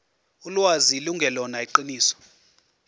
ulwazi lungelona iqiniso